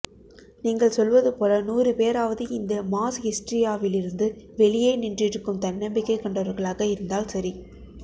நீங்கள் சொல்வதுபோல நூறுபேராவது இந்த மாஸ் ஹிஸ்டீரியாவிலிருந்து வெளியே நின்றிருக்கும் தன்னம்பிக்கை கொண்டவர்களாக இருந்தால் சரி